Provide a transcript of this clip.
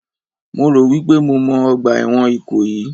Mo rò wípé mo mọ ọgbà ẹ̀wọ̀n Ìkòyí